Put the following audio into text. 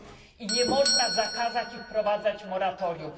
I nie można zakazać i wprowadzać moratorium.